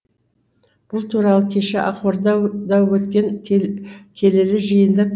бұл туралы кеше ақорда да өткен келелі жиында